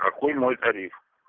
какой мой тариф